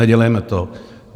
Nedělejme to.